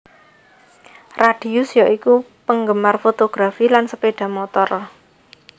Radius ya iku penggemar fotografi lan sepeda motor